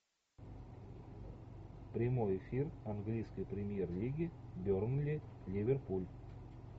прямой эфир английской премьер лиги бернли ливерпуль